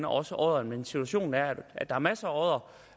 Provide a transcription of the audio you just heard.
også odderen men situationen er at der er masser af oddere